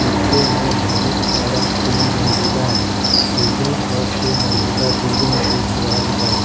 पीछे मे बहुत बड़ा तीन मंजिला बिल्डिंग और दो मंजिला बिल्डिंग दिख रहल बा।